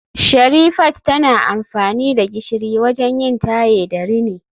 Sherifat tana amfani da gishiri wajen yin taye da rini